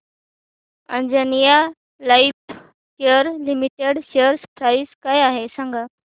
Anjaneya Lifecare limited share price काय आहे सांगा